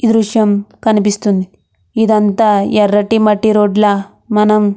ఈ దృశ్యం కనిపిస్తుంది ఇదంతా ఎర్రటి మట్టి రోడ్డుల మనం --